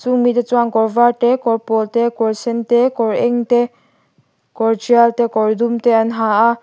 a hnung mite chuan kawr var te kawr pawl te kawr sen te kawr eng te kawr tial te kawr dum te an ha a.